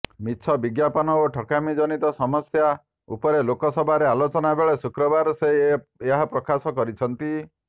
ମିଛ ବିଜ୍ଞାପନ ଓ ଠକାମି ଜନିତ ସମସ୍ୟା ଉପରେ ରାଜ୍ୟସଭାରେ ଆଲୋଚନା ବେଳେ ଶୁକ୍ରବାର ସେ ଏହା ପ୍ରକାଶ କରିଛନ୍ତି